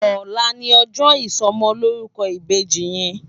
Òlá ni òjò isòmòlórúkò ibéji yèn